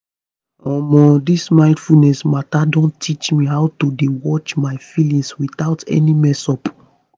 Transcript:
omo this mindfulness matter don teach me how to dey watch my feelings without any messup